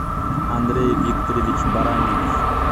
андрей викторович баранников